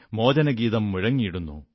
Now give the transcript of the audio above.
മോചനഗീതം മുഴങ്ങിടുന്നു